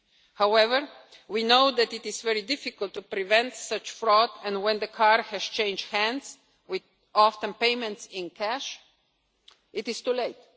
gangs. However, we know that it is very difficult to prevent such fraud, and when the car has changed hands, often with payment in cash, it